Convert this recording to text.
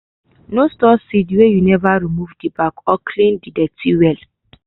no store seed weh you never remove the back or clean the dirty wel.